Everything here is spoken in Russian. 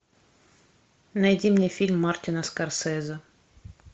найди мне фильм мартина скорсезе